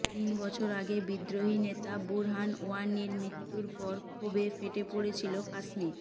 তিন বছর আগে বিদ্রোহী নেতা বুরহান ওয়ানির মৃত্যুর পর ক্ষোভে ফেটে পড়েছিল কাশ্মীর